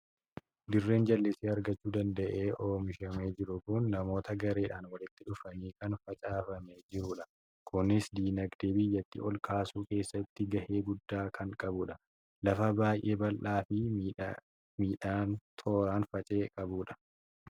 Dirreen jallisii argachuu danda'ee oomishamee jiru kun namoota gareedhaan walitti dhufaniin kan facaafamee jirudha. Kunis dinagdee biyyattii ol kaasuu keessattu gahee guddaa kan qabudha. Lafa baay'ee bal'aa fi midhaan tooraan faca'e qabudha.